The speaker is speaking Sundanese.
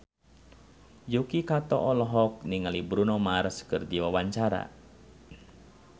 Yuki Kato olohok ningali Bruno Mars keur diwawancara